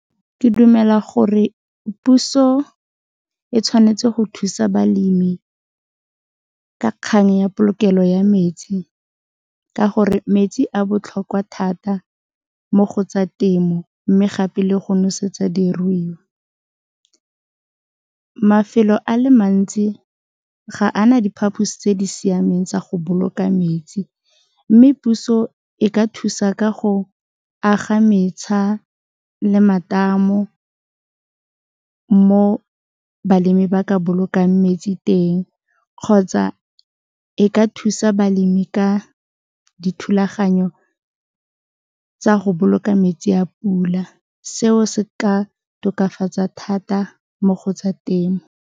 Ke dumela gore puso e tshwanetse go thusa balemi ka kgang ya polokelo ya metsi ka gore metsi a botlhokwa thata mo go tsa temo mme gape le go nosetsa diruiwa, mafelo a le mantsi ga ana diphaposi tse di siameng tsa go boloka metsi mme puso e ka thusa ka go aga le matamo mo balemi ba ka bolokang metsi teng kgotsa e ka thusa balemi ka dithulaganyo tsa go boloka metsi a pula, seo se ka tokafatsa thata mo go tsa temo.